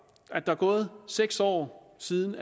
at der er gået seks år siden